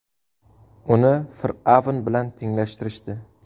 Uni fir’avn bilan tenglashtirishdi.